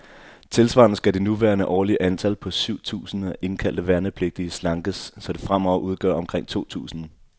Tilsvarende skal det nuværende årlige antal, på syv tusinde indkaldte værnepligtige, slankes, så det fremover udgør omkring to tusinde.